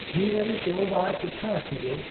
हीउ वरी टियों ॿारु किथां अची वियो?